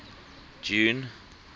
june